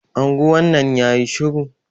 Anguwan nan yayi shiru.